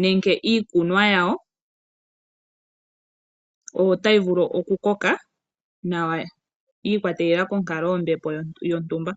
Nenke iikunwa yawo otayi vulu oku koka nawa yi ikwatelela konkalo yontumba.